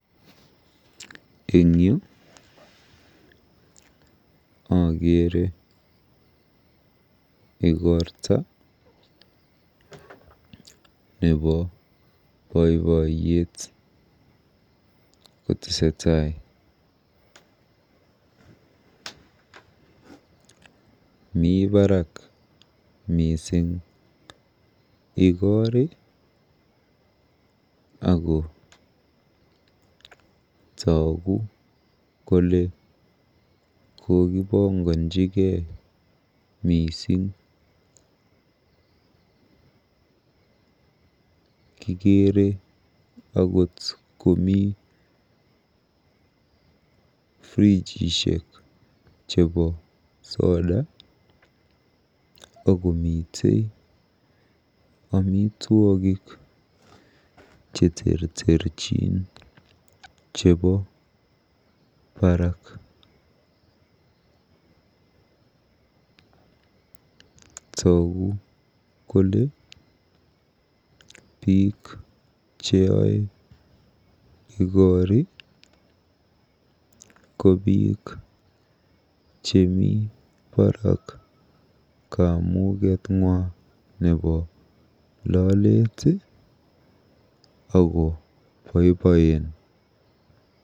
Eng yu akeere ikorta nebo boiboiyet kotesetai. Mi barak mising ikoori akotoogu kole kokibongonjigei mising. Kikeere komi akot frijishiek jebo soda akomitei amitwogik cheterterchin chebo baraak. Toogu kole biik cheoe igori ko biik chemi barak kamugetng'wa nebo lolet ako boiboen.